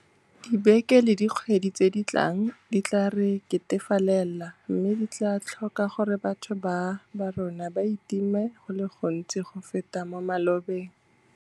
Dibeke le dikgwedi tse di tlang di tla re ketefalela mme di tla tlhoka gore batho ba borona ba itime go le gontsi go feta mo malobeng.